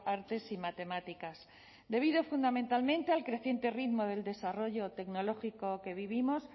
artes y matemáticas debido fundamentalmente al creciente ritmo del desarrollo tecnológico que vivimos